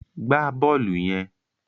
Gbá bọ́ọ̀lù yẹn!